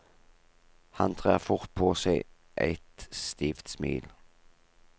Han trer fort på seg eit stivt smil.